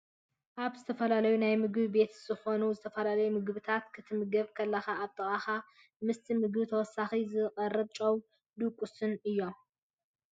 ኣብ ዝተፈላለዩ ናይ ምግቢ ቤት ዝኮኑ ዝተፈላለዩ ምግብታት ክትምገብ ካለካ ኣብ ጥቃካ ምስቲ ምግቢ ተወሳኪ ዝቀርብ ጨውን ድቁስን እዩ ።